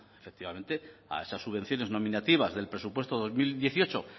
efectivamente a esas subvenciones nominativas del presupuesto dos mil dieciocho